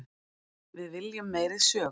Við viljum meiri sögu.